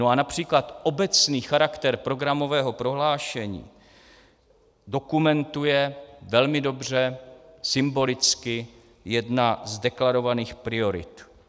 No a například obecný charakter programového prohlášení dokumentuje velmi dobře symbolicky jedna z deklarovaných priorit.